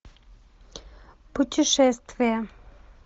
путешествия